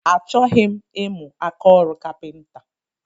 Achọghị m imu ákáọrụ kapinta